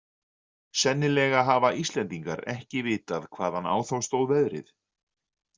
Sennilega hafa Íslendingar ekki vitað hvaðan á þá stóð veðrið.